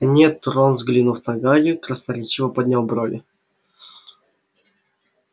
нет рон взглянув на гарри красноречиво поднял брови